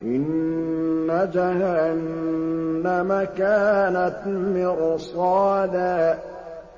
إِنَّ جَهَنَّمَ كَانَتْ مِرْصَادًا